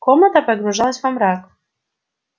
комната погружалась во мрак